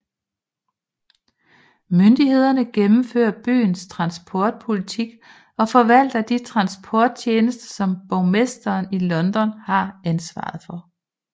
Myndigheden gennemfører byens transportpolitik og forvalter de transporttjenester som borgmesteren i London har ansvar for